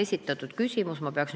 Aitäh!